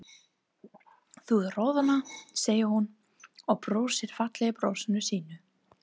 Þú roðnar, segir hún og brosir fallega brosinu sínu.